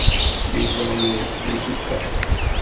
le jalo tse di ka